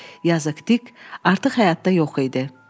Yazıq Dik, artıq həyatda yox idi.